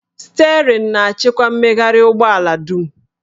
Sterịn na-achịkwa mmegharị ụgbọ ala dum